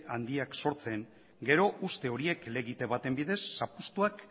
handiak sortzen gero uste horiek helegite baten bidez zapuztuak